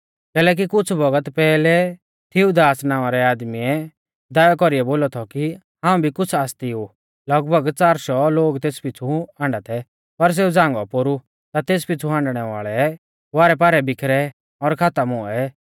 कैलैकि कुछ़ बौगत पैहलै थीऊदास नावां रै आदमीऐ दावै कौरीऐ बोला थौ कि हाऊं भी कुछ़ आसती ऊ लगभग च़ार शौ लोग तेस पिछ़ु हाण्डा थै पर सेऊ झ़ांगौ पोरु ता तेस पिछ़ु हांडणै वाल़ै वारैपारै बिखरै और खातम हुऐ